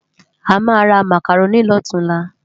Amá rá Mákáróni lòtúnlá